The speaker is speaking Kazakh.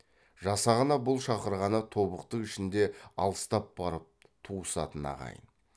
жасағына бұл шақырғаны тобықты ішінде алыстап барып туысатын ағайын